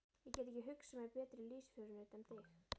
Ég get ekki hugsað mér betri lífsförunaut en þig.